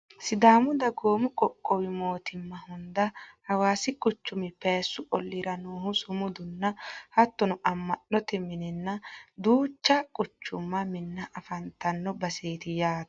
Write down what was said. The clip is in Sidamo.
sidaamu dagoomi qoqqowu mootimma hunda hawaasi quchumi piyaassu olliira noohu sumudunna hattono amma'note mininna duucha quchumu minna afantanno baseeti yaate